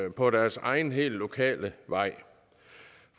på deres egen helt lokale vej